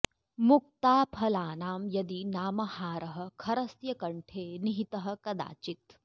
मुक्ताफलानां यदि नाम हारः खरस्य कण्ठे निहितः कदाचित्